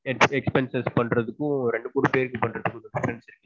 expenses பண்றதுக்கும் ரெண்டு பேரு சேர்ந்து பண்றதுக்கும் difference இருக்கு